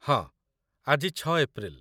ହଁ, ଆଜି ୬ ଏପ୍ରିଲ୍‌ ।